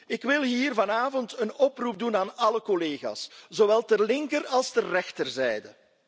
Ik wil hier vanavond een oproep doen aan alle collega's, zowel ter linker als ter rechterzijde.